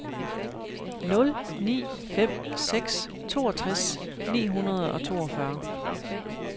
nul ni fem seks toogtres ni hundrede og toogfyrre